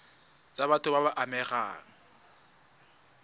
tsa batho ba ba amegang